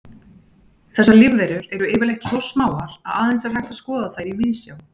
Þessar lífverur eru yfirleitt svo smáar að aðeins er hægt að skoða þær í víðsjá.